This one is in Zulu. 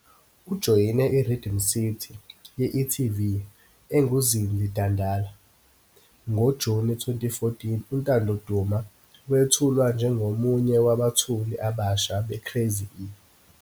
Ujoyine i-"Rhythm City" ye-etv enguZinzi Dandala. NgoJuni 2014 uNtando Duma wethulwa njengomunye wabethuli abasha "beCraz-e."